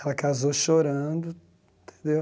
Ela casou chorando, entendeu?